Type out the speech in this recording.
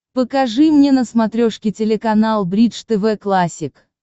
покажи мне на смотрешке телеканал бридж тв классик